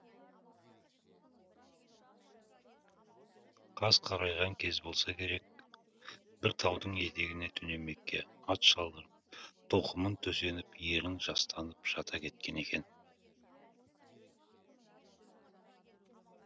қас қарайған кез болса керек бір таудың етегіне түнемекке ат шалдырып тоқымын төсеніп ерін жастанып жата кеткен екен